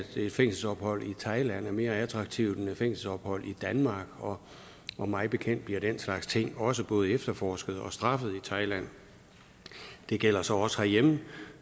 et fængselsophold i thailand er mere attraktivt end et fængselsophold i danmark og og mig bekendt bliver den slags ting også både efterforsket og straffet i thailand det gælder så også herhjemme